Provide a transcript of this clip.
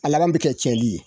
A laban bɛ kɛ cɛnli ye